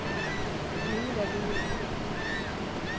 Yngve Holen